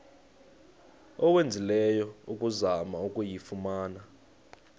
owenzileyo ukuzama ukuyifumana